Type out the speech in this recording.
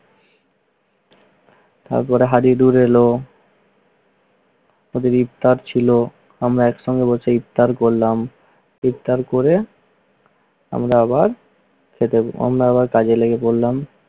সব কটা দৌড়ে এলো। ওদের ইফতার ছিল। আমরা এক সঙ্গে বসে ইফতার করলাম। ইফতার করে আমরা আবার খেতে~ অন্য একটা কাজে লেগে পড়লাম।